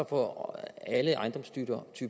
får alle ejendomstyper